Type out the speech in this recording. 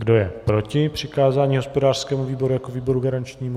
Kdo je proti přikázání hospodářskému výboru jako výboru garančnímu?